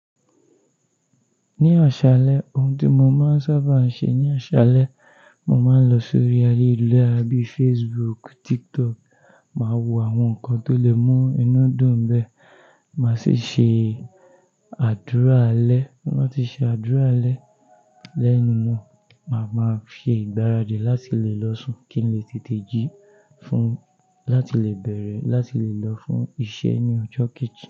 Ní aṣàlẹ̀, ohun tí mo máa ń sábà ń ṣe ní aṣàlẹ̀, mo máa ń lọ sórí ayélujára bíi Facebook, TikTok, máa wo àwọn nǹkan tó lè mú inú dùn béè, màá sì ṣe àdúrà alẹ́. Tin ba ti ṣe àdúrà alẹ́. Then mo, màá máa se ìgbáradì láti lè lọ́ sùn kí n lè tètè jí fún láti lè bẹ̀rẹ̀, láti lè lọ fún iṣẹ́ ní ọjọ́ kejì.